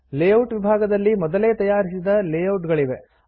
layout ವಿಭಾಗದಲ್ಲಿ ಮೊದಲೇ ತಯಾರಿಸಿದ ಲೇಯೌಟ್ ಗಳಿವೆ